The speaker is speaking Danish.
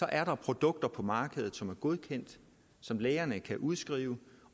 er der produkter på markedet som er godkendt som lægerne kan udskrive